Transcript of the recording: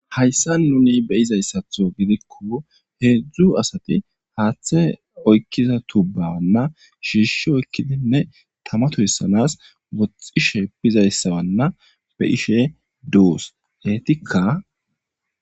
Hayissanni nuni be'izayisaththo giddikko hezdzdu asati haththe oyikkiza tubo shishshi oyikkidi tama toyisana woxxishshe bizayissa doss.ettikka